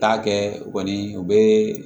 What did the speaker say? Taa kɛ u kɔni u bɛ